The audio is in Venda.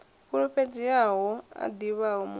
fulufhedzeaho a ḓivhaho mubebi a